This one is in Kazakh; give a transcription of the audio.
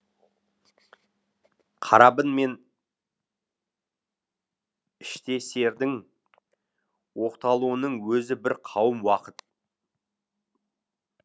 қарабін мен іштесердің оқталуының өзі бір қауым уақыт